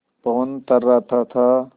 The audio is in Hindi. पवन थर्राता था